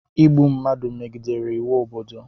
Ịgbụ mmadụ megidere iwu obodo